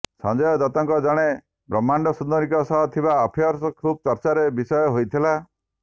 ସଂଜୟ ଦତ୍ତଙ୍କର ଜଣେ ବ୍ରହ୍ମାଣ୍ଡ ସୁନ୍ଦରୀଙ୍କ ସହ ଥିବା ଆଫେଆର୍ ଖୁବ୍ ଚର୍ଚ୍ଚାର ବିଷୟ ହୋଇଥିଲା